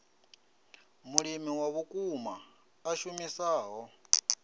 mulimi wa vhukuma a shumisaho